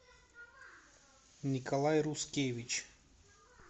николай рускевич